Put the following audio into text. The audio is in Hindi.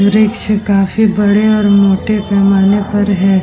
वृछ काफी बड़े और मोटे पैमाने पर हैं।